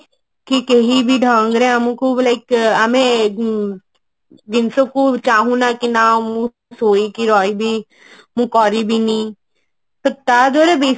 କି କେହି ବି ଢଙ୍ଗରେ ଆମକୁ like ଆମେ ଉଁ ଜିନିଷକୁ ଚାହୁଁ ନା କି ନା ମୁଁ ଶୋଇକି ରହିବି ମୁଁ କରିବିନି ତ ତା ଦ୍ଵାରା ବେଶୀ